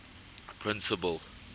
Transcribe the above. principal